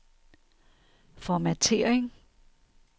formattering